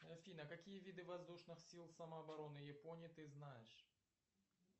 афина какие виды воздушных сил самообороны японии ты знаешь